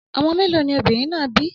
Ọmọ mẹ́lọ̀ ni obìnrin náà bí?